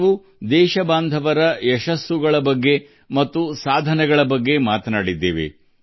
ನಾವು ದೇಶವಾಸಿಗಳ ಯಶಸ್ಸು ಮತ್ತು ಸಾಧನೆಗಳನ್ನು ಚರ್ಚಿಸಿದ್ದೇವೆ